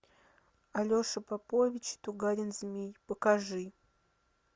алеша попович тугарин змей покажи